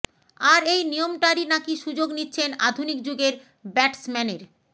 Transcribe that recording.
আর এই নিয়মটারই নাকি সুযোগ নিচ্ছেন আধুনিক যুগের ব্যাটসম্যানের